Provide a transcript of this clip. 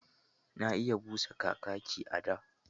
Na iya busa Kakaki a da.